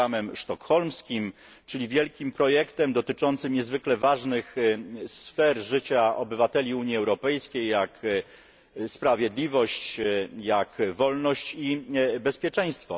programem sztokholmskim, czyli wielkim projektem dotyczącym niezwykle ważnych sfer życia obywateli Unii Europejskiej, takich jak sprawiedliwość, wolność i bezpieczeństwo.